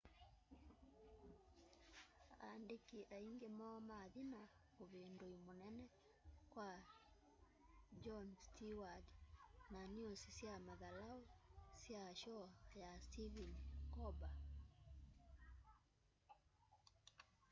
andiki aingi moo mathi na uvindui munene kwa jon steward na niusi sya mathalau sya shoo ya stephen colber